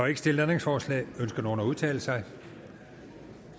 ikke stillet ændringsforslag ønsker nogen at udtale sig